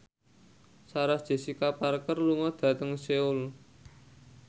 Sarah Jessica Parker lunga dhateng Seoul